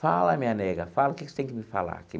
Fala, minha nega, fala o que você tem que me falar.